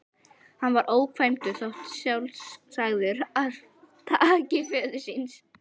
Hann var ókvæntur og þótti sjálfsagður arftaki föður síns.